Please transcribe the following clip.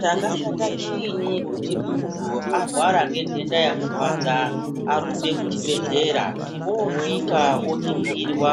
Chakashata chinyi kuti muntu arwara nendenda yamurwadza arumbe kuchibhedhlera osvika oningirwa